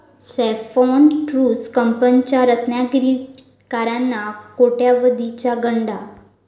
saffron tours कंपनीचा रत्नागिरीकरांना कोट्यावधीचा गंडा